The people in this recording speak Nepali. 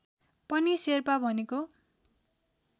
पनि शेर्पा भनेको